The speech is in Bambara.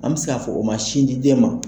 An bɛ se k'a fɔ o ma sin di den ma.